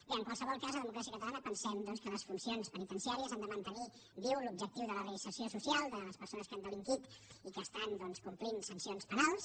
bé en qualsevol cas a democràcia catalana pensem que les funcions penitenciàries han de mantenir viu l’objectiu de la reinserció social de les persones que han delinquit i que compleixen sancions penals